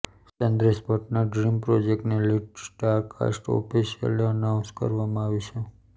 ચંદ્રેશ ભટ્ટના ડ્રીમ પ્રોજેક્ટની lead star cast officially announce કરવામાં આવી છે